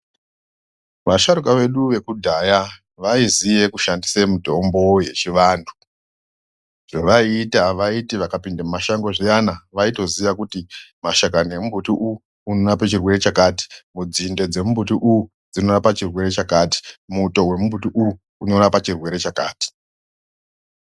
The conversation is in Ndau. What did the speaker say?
Vasharuka vedu vekudhaya vaiziye kushandise mitombo yechivantu .Zvavaiita vaiti vakapinde mumashango zviyana, vaitoziya kuti mashakani emumbuti uyu unorape chirwere chakati ,nzinde dzemumbuti uyu dzinorapa chirwere chakati, muto wemumbuti uyu unorapa chirwere chakati.